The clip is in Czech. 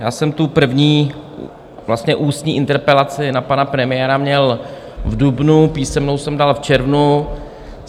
Já jsem tu první vlastně ústní interpelaci na pana premiéra měl v dubnu, písemnou jsem dal v červnu.